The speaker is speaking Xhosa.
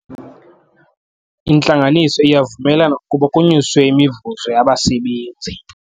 Intlanganiso iyavumelana ukuba kunyuswe imivuzo yabasebenzi.